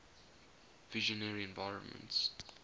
visionary environments